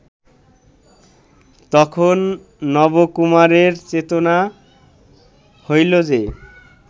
তখন নবকুমারের চেতনা হইল যে